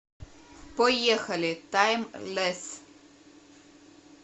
поехали таймлесс